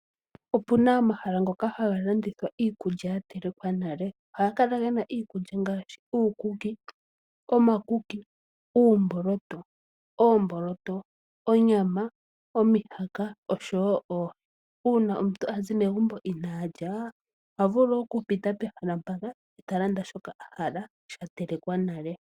Opuna omahala ngoka haga landithwa iikulya yatelekwa nale, ohaga kala gena iikulya ngaashi uukuki, omakuki, uumboloto, oomboloto, onyama, omihaka osho woo oohi. Uuna omuntu azi megumbo inaalya ohavulu okupita pehala mpaka eta landa shoka ahala shatelekwa nale.